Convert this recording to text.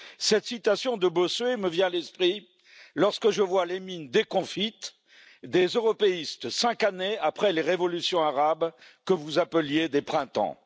Cette citation de Bossuet me vient à l'esprit lorsque je vois les mines déconfites des européistes cinq années après les révolutions arabes que vous appeliez des printemps.